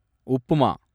upma